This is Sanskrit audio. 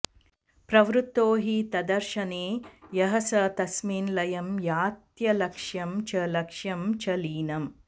प्रवृत्तो हि तद्दर्शने यः स तस्मिन् लयं यात्यलक्ष्यं च लक्ष्यं च लीनम्